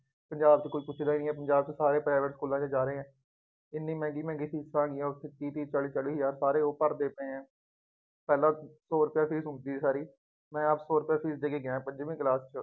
ਪੰਜਾਬ ਚ ਕੋਈ ਪੁੱਛਦਾ ਨਹੀਂ ਹੈ, ਪੰਜਾਬ ਚ ਸਾਰੇ private ਸਕੂਲਾਂ ਚ ਜਾ ਰਹੇ ਹੈ। ਕਿੰਨੀਆਂ ਮਹਿੰਗੀਆਂ ਮਹਿੰਗੀਆਂ ਫੀਸਾਂ ਹੈਗੀਆਂ ਉੱਥੇ ਤੀਹ-ਤੀਹ, ਚਾਲੀ-ਚਾਲੀ ਹਜ਼ਾਰ ਸਾਰੇ ਉਹ ਭਰਦੇ ਪਏ ਹੈ। ਪਹਿਲਾ ਸੌ ਰੁਪਏ ਫੀਸ ਹੁੰਦੀ ਸੀ ਸਾਰੀ, ਮੈਂ ਆਪ ਸੌ ਰੁਪਏ ਫੀਸ ਦੇ ਕੇ ਗਿਆਂ ਪੰਜਵੀ class